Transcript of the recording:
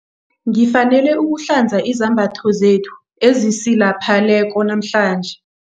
Ngifanele ukuhlanza izembatho zethu ezisilapheleko namhlanje.